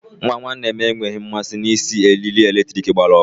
Nwa nwanne m enweghị mmasị na-isi eriri eletrik gbara ọkụ.